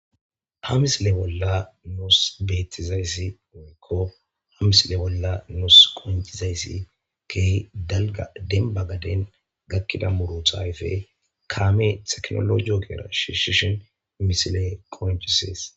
ha misile bolla nuus beettizayssi oekko ha misile bolla nus koincizayssi keehi dalga denba gaden gakkida muruthayfe kaame teknolo ookera shishishin misile koinchisees